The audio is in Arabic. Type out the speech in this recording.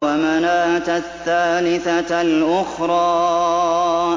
وَمَنَاةَ الثَّالِثَةَ الْأُخْرَىٰ